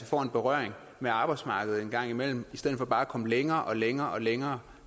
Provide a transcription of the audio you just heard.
får en berøring med arbejdsmarkedet engang imellem i stedet for bare at komme længere og længere og længere